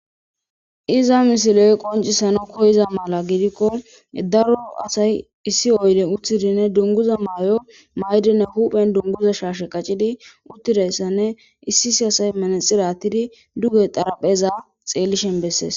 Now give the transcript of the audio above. Iza misiley qoncisano koyiza mala gidikko daro asay issi oyde uttidinne dunguza maayo maydinne huphen dunguza shaashe qaccidi uttidayssanne issisi asay manaxirattidi duge xarapheza xeellishen bessees